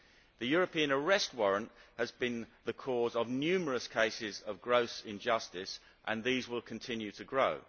The European Arrest Warrant has been the cause of numerous cases of gross injustice, and these will continue to grow.